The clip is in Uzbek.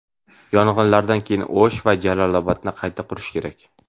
Yong‘inlardan keyin O‘sh va Jalolobodni qayta qurish kerak.